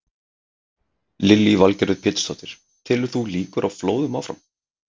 Lillý Valgerður Pétursdóttir: Telur þú líkur á flóðum áfram?